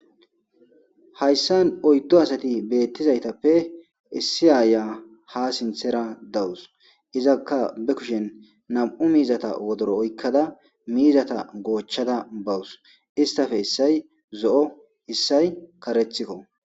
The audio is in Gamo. hayssan oyddo asati beettizaytappe issi aaya ha sinthera dawus izakka be kushen nam7u miizata wodoro oykkada miizata goochchada bawus istafe issay zo7o issay karethikko